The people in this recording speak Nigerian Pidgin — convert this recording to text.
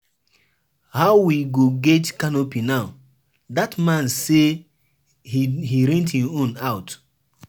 We don agree say we go learn swimming and skiing for dis holiday.